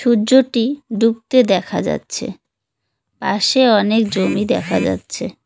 সূর্যটি ডুবতে দেখা যাচ্ছে পাশে অনেক জমি দেখা যাচ্ছে।